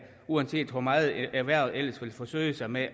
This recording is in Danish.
uanset hvor meget erhvervet ellers vil forsøge sig med